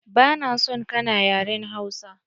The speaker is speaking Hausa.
Ba na son kana yaren Hausa!